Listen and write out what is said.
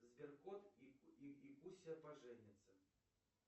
сберкот и куся поженятся